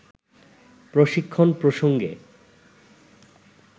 প্রশিক্ষণ প্রসঙ্গে